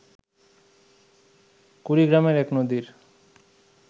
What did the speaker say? কুড়িগ্রামের এক নদীর